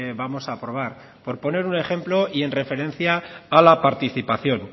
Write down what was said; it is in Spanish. vamos a aprobar por poner un ejemplo y en referencia a la participación